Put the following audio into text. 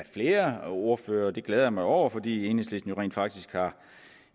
flere ordførere og det glæder jeg mig over fordi enhedslisten rent faktisk har